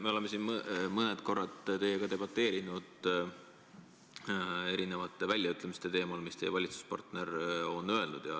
Me oleme siin mõned korrad teiega debateerinud erinevate väljaütlemiste üle, mis teie valitsuspartner on öelnud.